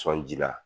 Sɔnji la